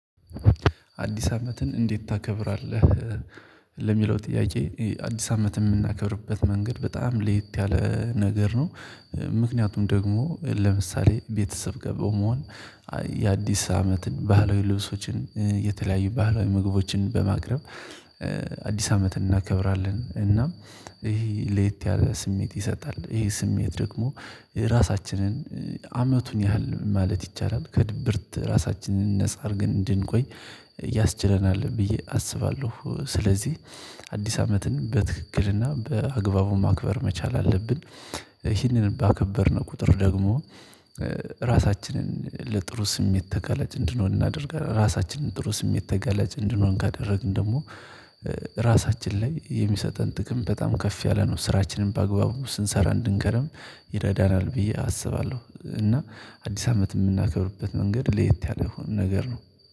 አዲስ አመትን እንዴት ታከብራለህ? ለሚለው ጥያቄ አዲስ አመት የምናከብርበት መንገድ በጣም ለየት ያለ ነገር ነው። ምክንያቱም ደግሞ ለምሳሌ ቤተሰብ ጋር በመሆን የአዲስ አመትን ባህላዊ ልብሶችን የተለያዩ ባህላዊ ምግቦችን በማቅረብ አዲስ አመት እናከብራለን እና ይሄ ለየት ያለ ስሜት ይሰጣል ይሄ ስሜት ደግሞ ራሳችንን አመቱን ያህል ማለት ይቻላል ከድብርት ራሳችንን ነፃ አድርገን እንድንቆይ ያስችለናለሁ ብዬ አስባለሁ። ስለዚህ አዲስ አመትን በትክክልና በአግባቡ ማክበር መቻል አለብን። ይህንን ባከበርነው ቁጥር ደግሞ ራሳችንን ለጥሩ ስሜት ተጋላጭ እንድንሆን እናደርጋለን ራሳችንን ጥሩ ስሜት ተጋላጭ እንድንሆን ካደረግን ደግሞ ራሳችን ላይ የሚሰጠን ጥቅም በጣም ከፍ ያለ ነው ስራችንን በአግባቡ ስንሰራ እንድንከረም ይረዳናል ብዬ አስባለሁ። እና አዲስ አመት የምናከብርበት መንገድ ለየት ያለ ነገር ነው